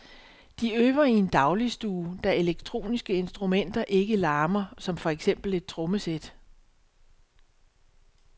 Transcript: De øver i en dagligstue, da elektroniske instrumenter ikke larmer som for eksempel et trommesæt.